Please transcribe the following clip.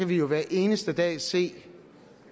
vi jo hver eneste dag se